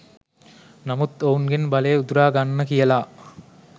නමුත් ඔවුන්ගෙන් බලය උදුරා ගන්න කියලා